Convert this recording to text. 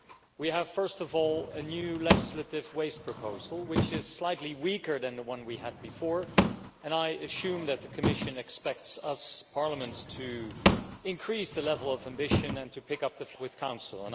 We have, first of all, a new legislative waste proposal which is slightly weaker than the one we had before, and I assume that the Commission expects Parliament to increase the level of ambition and to pick up the fight with the Council.